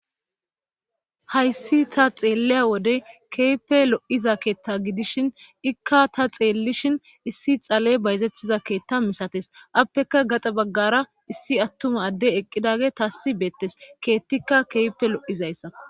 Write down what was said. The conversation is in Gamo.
hayssi ta xeelliya wode keehipe lo7iza keetta gidishin ikka ta xeellishin issi xaley bayzettiza keetta misates appeka gaxa baggara issi attuma adde eqqidage taassi beettes keettikka keype lo7izayssa